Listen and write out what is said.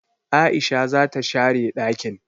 aishe zata share dakin!